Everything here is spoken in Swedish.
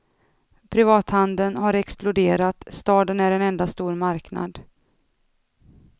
Privathandeln har exploderat, staden är en enda stor marknad.